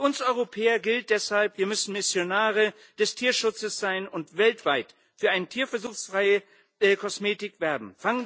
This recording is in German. Für uns Europäer gilt deshalb Wir müssen Missionare des Tierschutzes sein und weltweit für eine tierversuchsfreie Kosmetik werben.